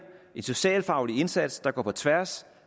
en socialfaglig indsats der går på tværs